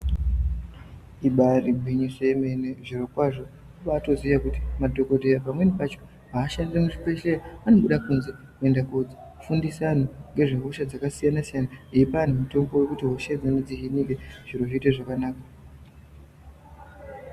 Ibari ngwinyisa yemene zviro kwazvo kubatoziya kuti madhokota pamweni pacho hashandiri muzvibhehleya anoshandira anobuda kunze kofundisa vanhu ngezve hosha dzakasiyana siyana achipa vanhu mitombo yekuti yekuti hosha idzodzo dziihinike zviro zviite zvakanaka.